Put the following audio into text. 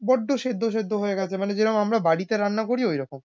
বড্ড সেদ্দ সেদ্দ হয়ে গেছে মানে যে রকম আমরা বাড়িতে রান্না করি ওইরকম।